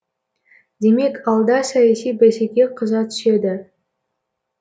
демек алда саяси бәсеке қыза түседі